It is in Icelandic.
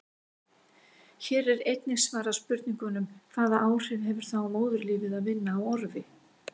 Hér er einnig svarað spurningunum: Hvaða áhrif hefur það á móðurlífið að vinna á orfi?